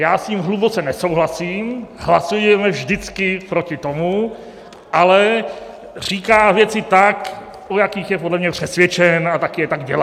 Já s ním hluboce nesouhlasím, hlasujeme vždycky proti tomu, ale říká věci tak, o jakých je podle mě přesvědčen, a tak je taky dělá.